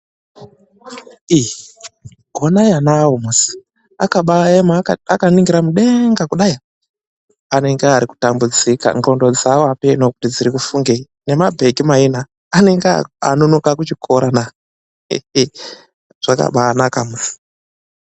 I konai ana awo musi . Akabayema akaningira mudenga kudai. Anenge ari kutambudzika. Ngondo dzavo ameno kuti dziri kufungei. Nemabheki maina anenge anonoka kuchikorana. Zvakabanaka musi.